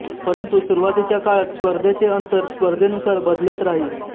परंतू सुरूवातीच्या काळात स्पर्धेचे अंतर स्पर्धेनुसार बदलत राही